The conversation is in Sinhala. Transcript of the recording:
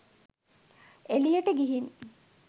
එළියට ගිහින්